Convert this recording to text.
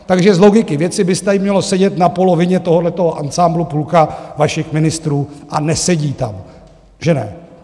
Takže z logiky věci by tady mělo sedět na polovině tohohle ansámblu půlka vašich ministrů a nesedí tam, že ne?